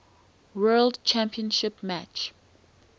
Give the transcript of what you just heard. world championship match